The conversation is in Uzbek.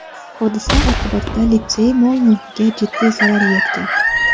Hodisa oqibatida litsey mol-mulkiga jiddiy zarar yetgan.